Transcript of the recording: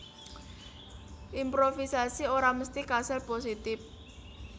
Improvisasi ora mesti kasil positip